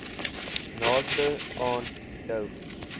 naaste aan jou